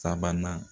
Sabanan